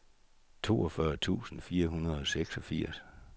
toogfyrre tusind fire hundrede og seksogfirs